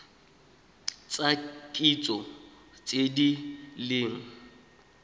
tsa kitso tse di leng